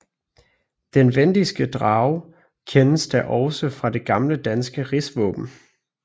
Den vendiske drage kendes da også fra det gamle danske rigsvåben